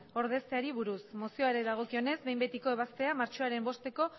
ordezteari buruz mozioari dagokionez behin betiko ebaztea martxoaren bosteko